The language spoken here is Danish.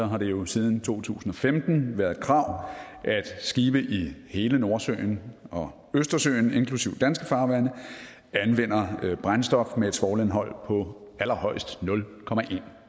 har det jo siden to tusind og femten været et krav at skibe i hele nordsøen og østersøen inklusive danske farvande anvender brændstof med et svovlindhold på allerhøjst nul